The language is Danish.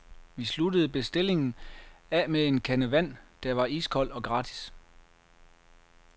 Vi sluttede bestillingen af med en kande vand, der var iskold og gratis.